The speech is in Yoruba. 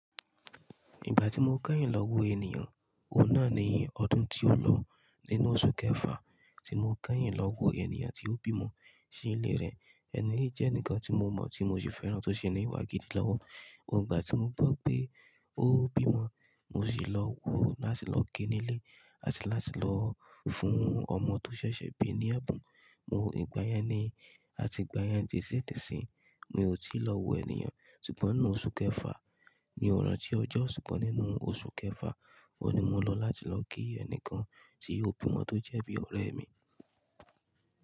Ìgbà tí mo kẹ́yìn lọ wo ènìyàn, òun náà ni ọdún tí ó lọ. Nínú oṣù kẹfà tí mo kẹ́yìn lọ wo ènìyàn tí ó bímọ sí ilé rẹ̀. Ẹni yìí jẹ́ ẹnìkan tí mo mọ̀ tí mo sì fẹ́ràn tó sì ní ìwà gidi lọ́wọ́. Òun ìgbà tí mo gbọ́ pé ó bímọ mo sì lọ wo láti lọ ki nílé àti láti lọ fún ọmọ tó ṣẹ̀ṣẹ̀ bí ní ẹ̀bùn. Ìgbà yẹn ni àti ìgbà yẹn disídísi mi ò tí lọ wo ènìyàn. Sugbọ̀n nínú oṣù kẹfà, mi ò ranti ọjọ́, ṣùgbọ́n nínú oṣù kẹfà oun ni mo lọ láti lọ ki ẹnìkan tí ó bímọ tó jẹ́ bí ọ̀rẹ́ mi.